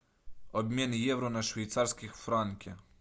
обмен евро на швейцарские франки